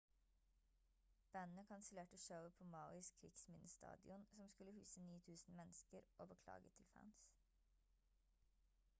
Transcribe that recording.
bandet kansellerte showet på mauis krigsminnestadion som skulle huse 9.000 mennesker og beklaget til fans